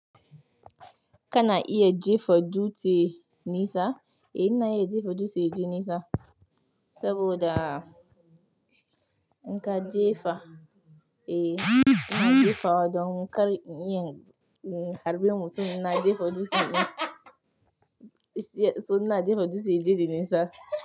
Kana iya jefa dutse nesa? Eh ina iya jefa dutse yaje nisa, saboda in ka jefa, eh ina jefawa don kar inyin harbi mutum ina jefa dutsen. So ina jefa dutse inji nisa.